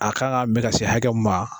A kan ka min ka se hakɛ min ma.